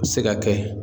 Se ka kɛ